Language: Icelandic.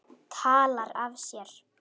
Talar af sér.